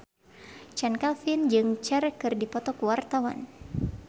Chand Kelvin jeung Cher keur dipoto ku wartawan